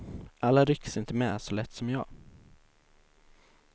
Alla rycks inte med så lätt som jag.